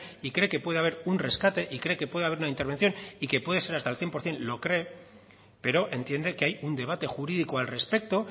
y cree que puede haber un rescate y cree que puede haber una intervención y que puede ser hasta el cien por ciento lo cree pero entiende que hay un debate jurídico al respecto